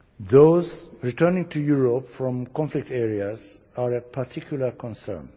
Those returning to Europe from conflict areas are a particular concern.